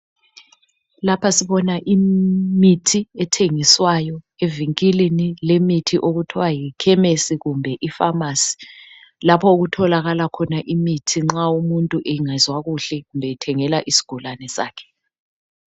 Lapha sibona imithi ethengiswayo evikilini lemithi okuthwa yikhemisi kumbe yipharmacy lapho kutholakala khona imithi nxa umuthu engezwa kuhle kumbe ethengela isigulane sakhe.